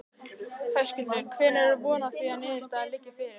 Höskuldur: Hvenær er von á því að niðurstaða liggi fyrir?